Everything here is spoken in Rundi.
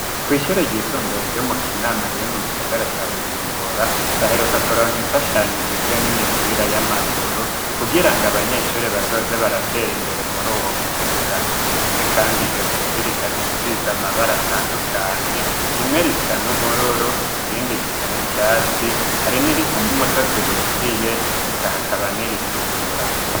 Kw'ishuri ryisumbuye ryo mu kinama rire mu gisagara ca bujumbura baheruka kuronka imfashanyigizwa n'imipira y'amaguru kugira ngo abanyeshuri bazoze baratera imbere muri uwo mwuga, ndetse, kandi iyo mipira ikabisiza amabara atandukanye rimwe risa n'ubururu irindi risa n'icatsi hari n'irisanauu muto tuhishiye ekahakabanir itukura.